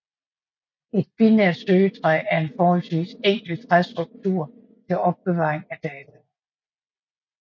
Et binært søgetræ er en forholdsvis enkel træstruktur til opbevaring af data